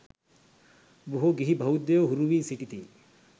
බොහෝ ගිහි බෞද්ධයෝ හුරු වී සිටිති.